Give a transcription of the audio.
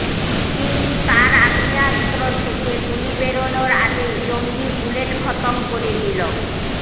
কিন্তু তার আগ্নেয়াস্ত্র থেকে গুলি বেরনোর আগেই জঙ্গি বুলেট খতম করে দিল